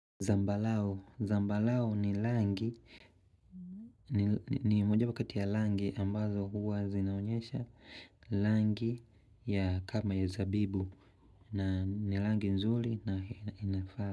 Zambarau. Zambarau ni rangi. Ni moja wapo kati ya rangi ambazo huwa zinaonyesha. Rangi ya kama ya zabibu. Na ni rangi nzuri na inafaa.